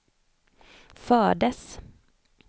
fördes